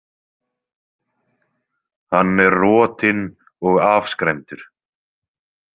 Hann er rotinn og afskræmdur.